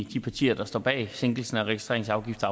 de partier der står bag sænkelse af registreringsafgiften